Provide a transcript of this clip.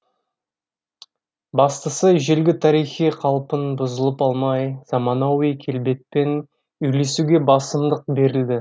бастысы ежелгі тарихи қалпын бұзып алмай заманауи келбетпен үйлесуге басымдық берілді